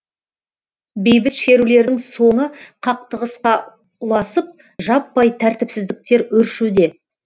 бейбіт шерулердің соңы қақтығысқа ұласып жаппай тәртіпсіздіктер өршуде